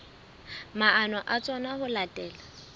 maano a tsona ho latela